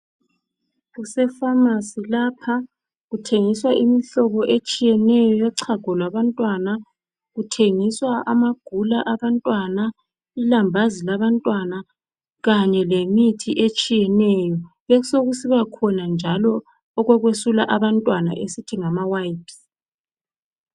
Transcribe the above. Kusephamarcy lapha kuthengiswa imihlobo etshiyeneyo yochago lwabantwana kuthengiswa amagula abantwana ilambazi labantwana kanye lemithi etshiyeneyo kube sokusiba khona njalo okokuyesula abantwana esithi ngamawipes